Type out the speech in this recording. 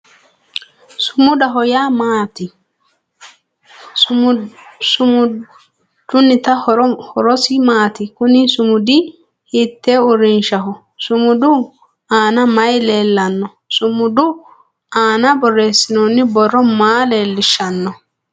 Sumudaho yaa mayaate? Sumudunniti horosi maati? Kunni sumudi hiitee uurinshaho? Sumudu aanna mayi leellano? Sumudu aanna boreesinonni borro maa leelishano?